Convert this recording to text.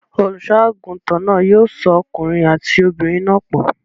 Olùṣọ́-àgùntàn náà yóò so ọkùnrin àti obìnrin náà pọ̀.